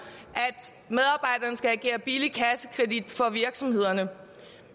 at medarbejderne skal agere billig kassekredit for virksomhederne